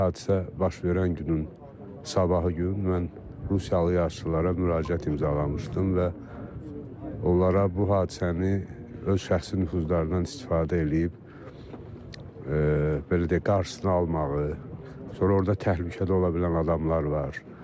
Hadisə baş verən günün sabahı gün mən rusiyalı yoldaşlara müraciət imzalamışdım və onlara bu hadisəni öz şəxsi nüfuzundan istifadə eləyib, belə deyək, qarşısını almağı, sonra orda təhlükədə ola bilən adamlar var.